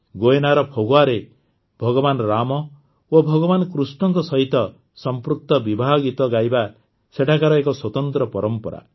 ଗୁୟେନାର ଫଗ୍ୱାରେ ଭଗବାନ ରାମ ଓ ଭଗବାନ କୃଷ୍ଣଙ୍କ ସହିତ ସଂପୃକ୍ତ ବିବାହ ଗୀତ ଗାଇବା ସେଠାକାର ଏକ ସ୍ୱତନ୍ତ୍ର ପରମ୍ପରା